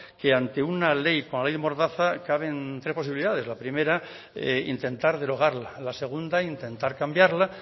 que ante una ley como la ley mordaza caben tres posibilidades la primera intentar derogarla la segunda intentar cambiarla